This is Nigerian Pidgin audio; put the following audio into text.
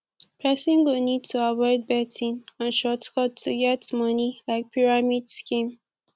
person go need to avoid betting and short cut to get money like pyramid scheme